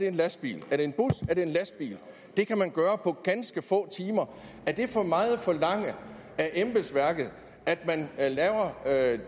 en lastbil er det en bus er det en lastbil det kan man gøre på ganske få timer er det for meget at forlange af embedsværket at man laver